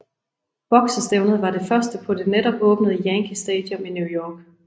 Boksestævnet var det første på det netop åbnede Yankee Stadium i New York